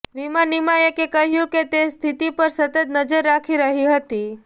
વીમા નિયામકે કહ્યું કેતે સ્થિતિ પર સતત નજર રાખી રહી હતી